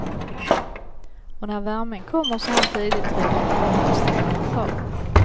Och när värmen kommer så här tidigt tror ingen att den stannar kvar.